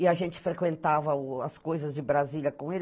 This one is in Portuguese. E a gente frequentava o as coisas de Brasília com ele.